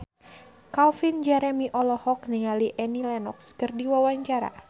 Calvin Jeremy olohok ningali Annie Lenox keur diwawancara